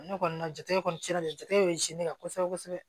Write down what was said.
Ne kɔni ka jate kɔni sera jatigɛw ye ne ka kosɛbɛ kosɛbɛ